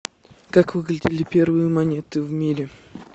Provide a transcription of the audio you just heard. как выглядели первые монеты в мире